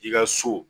I ka so